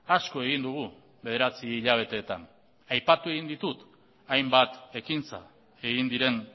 asko egin dugu bederatzi hilabeteetan aipatu egin ditut hainbat ekintza egin diren